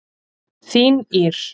Þín Ýr.